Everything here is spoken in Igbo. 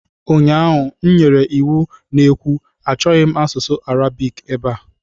ụnyaahụ, m nyere iwu na-ekwu "Achọghị asụsụ Arabiki ebe a!"